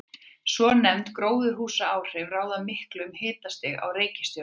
Svonefnd gróðurhúsaáhrif ráða miklu um hitastig á reikistjörnunum.